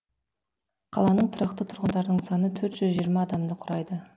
қаланың тұрақты тұрғындарының саны төрт жүз жиырма адамды құрайды